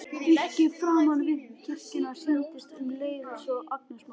Virkið framan við kirkjuna sýndist um leið svo agnarsmátt.